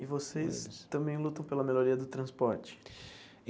E vocês também lutam pela melhoria do transporte?